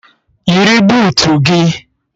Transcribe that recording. Yiri buutu gị!